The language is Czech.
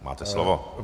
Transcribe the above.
Máte slovo.